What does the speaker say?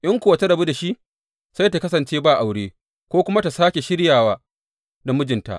In kuwa ta rabu da shi, sai ta kasance ba aure, ko kuma ta sāke shiryawa da mijinta.